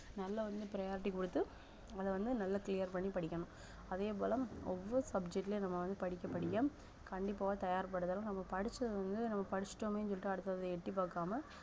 நல்லா வந்து priority கொடுத்து அத வந்து நல்லா clear பண்ணி படிக்கணும் அதே போல ஒவ்வொரு subject லயும் நம்ம வந்து படிக்க படிக்க கண்டிப்பாக தயார் படுத்தல் நம்ம படிச்சது வந்து நம்ம படிச்சுட்டோமேன்னு சொல்லிட்டு அடுத்ததை எட்டிப் பார்க்காம